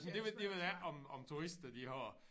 Det ved det ved jeg ikke om om turister de har